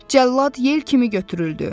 Cəllad yel kimi götürüldü.